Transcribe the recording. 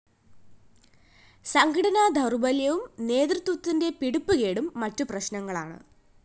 സംഘടനാ ദൗര്‍ബല്യവും നേതൃത്വത്തിന്റെ പിടിപ്പുകേടും മറ്റ് പ്രശ്‌നങ്ങളാണ്